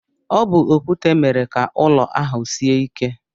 Ọ bu okwute mere ka ụlọ ahụ sie ike.